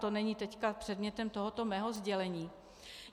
To není teď předmětem tohoto mého sdělení.